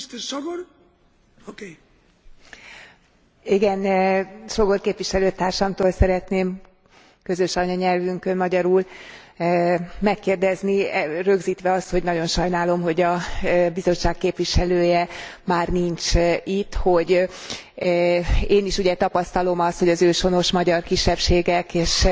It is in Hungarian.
Sógor képviselőtársamtól szeretném közös anyanyelvünkön, magyarul megkérdezni rögzítve azt, hogy nagyon sajnálom, hogy a Bizottság képviselője már nincs itt hogy én is tapasztalom azt, hogy az őshonos magyar kisebbségek és